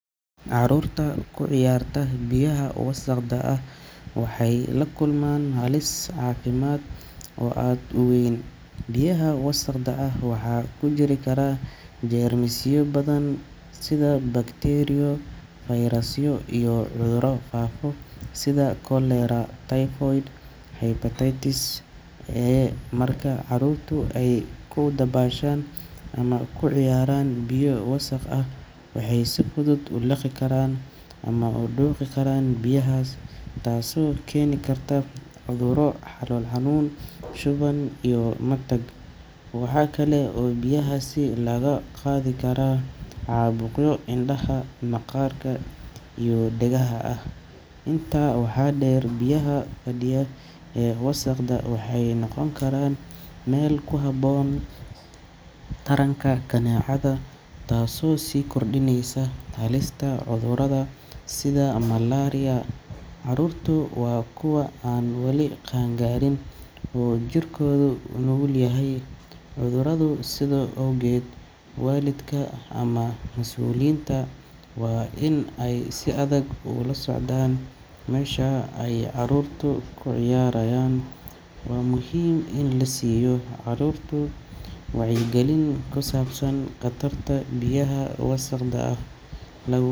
Carruurta ku ciyaarta biyaha wasakhda ah waxay la kulmaan halis caafimaad oo aad u weyn. Biyaha wasakhda ah waxaa ku jiri kara jeermisyo badan sida bakteeriyo, fayrasyo iyo cudurro faafa sida cholera, typhoid, iyo hepatitis A. Marka carruurtu ay ku dabaashaan ama ku ciyaaraan biyo wasakh ah, waxay si fudud u liqi karaan ama u dhuuqi karaan biyahaas taasoo keeni karta cudurro calool xanuun, shuban iyo matag. Waxa kale oo biyahaasi laga qaadi karaa caabuqyo indhaha, maqaarka iyo dhegaha ah. Intaa waxaa dheer, biyaha fadhiya ee wasakhda ah waxay noqon karaan meel ku habboon taranka kaneecada, taasoo sii kordhinaysa halista cudurrada sida malaria. Carruurtu waa kuwa aan wali qaan-gaarin oo jirkoodu u nugul yahay cudurrada, sidaa awgeed waalidka ama mas’uuliyiinta waa inay si adag ula socdaan meesha ay carruurtu ku ciyaarayaan. Waa muhiim in la siiyo carruurta wacyigelin ku saabsan khatarta biyaha wasakhda ah, laguna.